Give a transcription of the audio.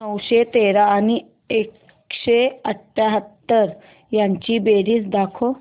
नऊशे तेरा आणि एकशे अठयाहत्तर यांची बेरीज दाखव